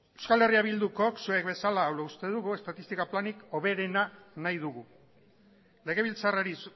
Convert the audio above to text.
eh bildukok zuek bezala hala uste dugu estatistika planik hoberena nahi dugu legebiltzarrari